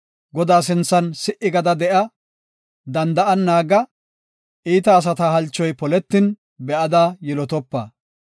Godaa sinthan si77i gada de7a; danda7an naaga; Iita asata halchoy poletin be7ada yilotopa.